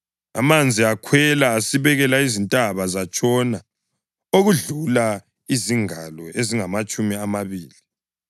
Amanzi akhwela asibekela izintaba zatshona okudlula izingalo ezingamatshumi amabili.